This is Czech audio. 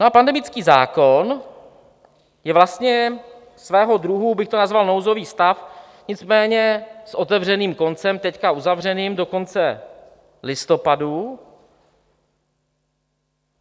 No a pandemický zákon je vlastně svého druhu, bych to nazval, nouzový stav, nicméně s otevřeným koncem, teď uzavřeným do konce listopadu.